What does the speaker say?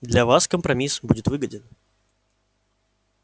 для вас компромисс будет выгоден